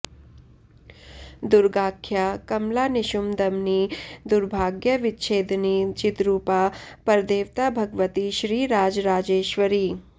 दुर्गाख्या कमला निशुम्भ दमनी दुर्भाग्य विच्छेदिनी चिद्रुपा परदेवता भगवती श्रीराजराजेश्वरी